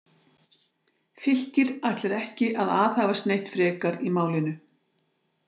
Fylkir ætlar ekki að aðhafast neitt frekar í málinu.